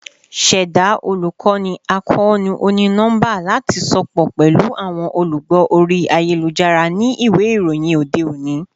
Ṣẹda olukoni akoonu oni-nọmba lati sopọ pẹlu awọn olugbo ori ayelujara ni iwe iroyin ode oni